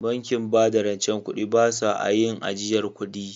Bankin bada rance ba su a yin ajiyar kudi